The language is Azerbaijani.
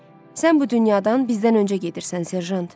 Sən bu dünyadan bizdən öncə gedirsən, serjant.